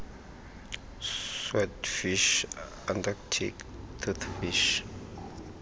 swordfish antarctic toothfish